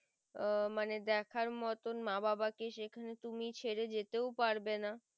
আহ মনে দেখার মতন মা বাবা কে সেখানে তুমি ছেড়ে যেতেও পারবে না